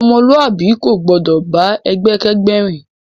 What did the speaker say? Ọmọluabi ko gbọdọ bá ẹgbẹ kẹgbẹ rìn.